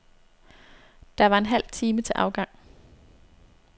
Der var en halv time til afgang.